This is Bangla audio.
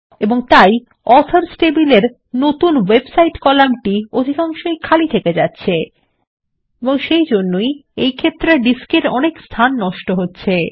এবং তাই অথর্স টেবিলের নতুন ওয়েবসাইট কলাম অধিকাংশই খালি থেকে যাচ্ছে এবং সেইজন্যই ডিস্ক এর অনেক স্থান নষ্ট হচ্ছে